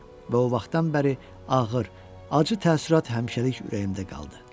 Və o vaxtdan bəri ağır, acı təəssürat həmişəlik ürəyimdə qaldı.